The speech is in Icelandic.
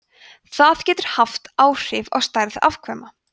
það getur haft áhrif á stærð afkvæma